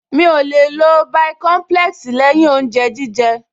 Mi ò lè lo bàìkọ́ḿpúlẹ́ẹ̀sì lẹ́yìn oúnjẹ jíjẹ